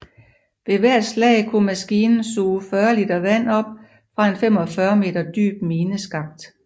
Ved hvert slag kunne maskinen suge 40 liter vand op fra en 45 meter dyb mineskakt